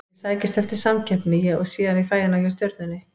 Ég sækist eftir samkeppni og sé að ég fæ hana hjá Stjörnunni.